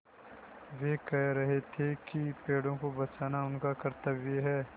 वे कह रहे थे कि पेड़ों को बचाना उनका कर्त्तव्य है